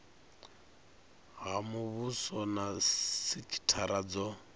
ha muvhuso na sikithara dzo